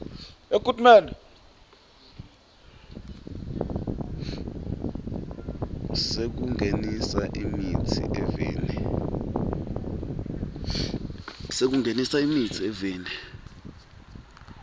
sekungenisa imitsi eveni